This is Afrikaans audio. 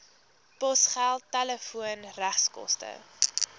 posgeld telefoon regskoste